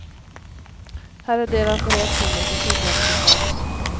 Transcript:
Här är deras reaktioner på sjuklöneförslaget.